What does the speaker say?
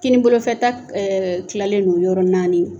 Kinin bolofɛta kilalen don yɔrɔ naani